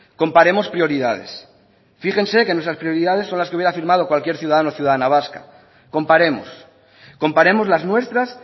comparemos prioridades fíjense que nuestras prioridades son las que hubiera firmado cualquier ciudadano o ciudadana vasca comparemos comparemos las nuestras